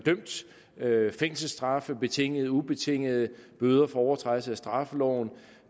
dømt fængselsstraffe betingede eller ubetingede bøder for overtrædelse af straffeloven